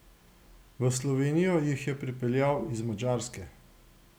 V Slovenijo jih je pripeljal z Madžarske.